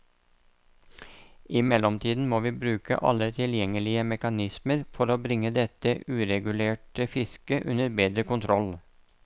I mellomtiden må vi bruke alle tilgjengelige mekanismer for bringe dette uregulerte fisket under bedre kontroll.